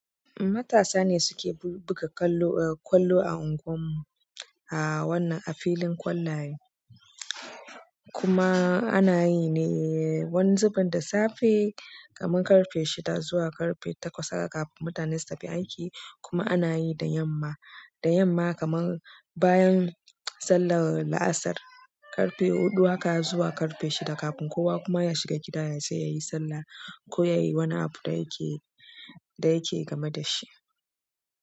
Matasa ne suke buga ƙwallo a ungwan mu a wannan a filin ƙwallaye kuma ana yi ne wani zuben da safe kamar ƙarfe shida zuwa ƙarfe takwas haka kafin mutane su tafi aiki kuma ana yi da yamma, da yamma kamar bayan sallar la'asar ƙarfe huɗu haka zuwa ƙarfe shida kafin kowa kuma ya shiga gida ya sai ya yi sallah ko ya yi wani abu da yake, da yake game da shi.